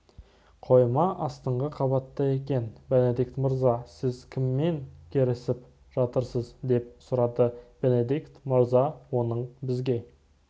қойма астыңғы қабатта екен бенедикт мырза сіз кіммен керісіп жатырсыз деп сұрады бенедикт мырза оның бізге